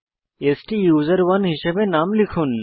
স্টুসেরনে হিসেবে নাম লিখুন